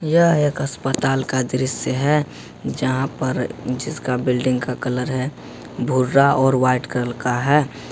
यह एक अस्पताल का दृश्य है यहां पर जिसका बिल्डिंग का कलर है भूरा और वाइट कलर का है।